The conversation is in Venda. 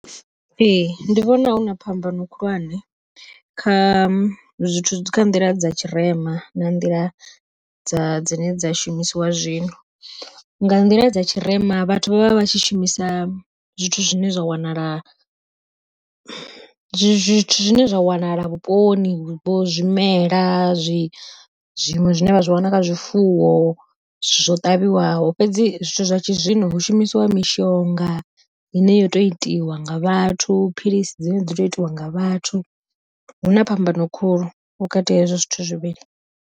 Ee ndi vhona huna phambano khulwane kha zwithu kha nḓila dza tshirema na nḓila dza dzine dza shumisiwa zwino. Nga nḓila dza tshirema vhathu vha vha vha vha tshi shumisa zwithu zwine zwa wanala, zwithu zwine zwa wanala vhuponi vho zwimela zwiṅwe zwine vha zwi wana kha zwifuwo zwo ṱavhiwaho fhedzi zwithu tshi zwino hu shumisiwa mishonga ine yo tou itiwa nga vhathu, philisi dzine dzo tou itiwa nga vhathu huna phambano khulu vhukati ha hezwo zwithu zwivhili.